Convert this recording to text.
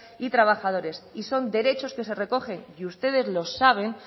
y trabajadores y son derechos que se recogen y ustedes lo saben